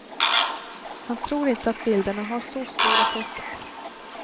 Han tror inte att bilderna har så stor effekt.